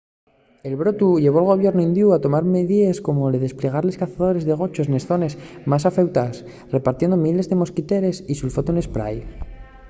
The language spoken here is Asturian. el brotu llevó al gobiernu indiu a tomar midíes como’l desplegar cazadores de gochos nes zones más afeutaes repartiendo miles de mosquiteres y sulfatu n’esprái